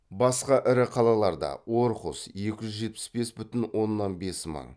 басқа ірі қалаларда орхус